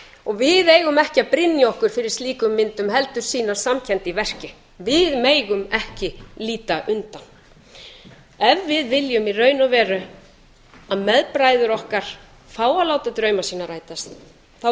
og við eigum ekki að brynja okkur fyrir slíkum myndum heldur sýna samkennd í verki við megum ekki líta undan ef við viljum í raun og veru að meðbræður okkar fái að láta drauma sína rætast þá